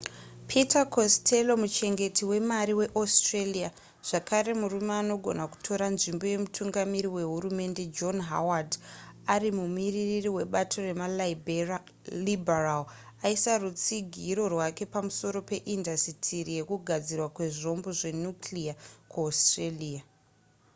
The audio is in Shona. peter costello muchengeti wemari weaustralia zvakare murume anogona kutora nzvimbo yemutungamiri wehurumende john howard ari mumuririri webato remaliberal aisa rutsigiro rwake pamusoro peindasitiri yekugadzirwa kwezvombo zvenuclear kuaustralia